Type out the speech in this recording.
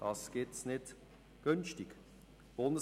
Das gibt es nicht günstig zu haben.